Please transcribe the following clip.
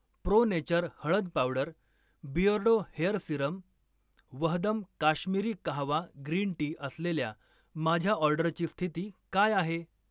pro Nature हळद powder, Beardo hair serum, Vahdam Kashmiri kahwa green tea असलेल्या माझ्या ऑर्डरची स्थिती काय आहे